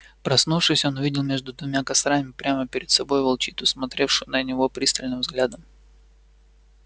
проснувшись он увидел между двумя кострами прямо перед собой волчицу смотревшую на него пристальным взглядом